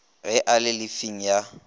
ge a le llifing ya